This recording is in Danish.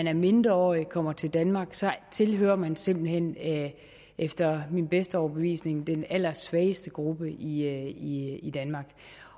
er mindreårig og kommer til danmark tilhører man simpelt hen efter min bedste overbevisning den allersvageste gruppe i i danmark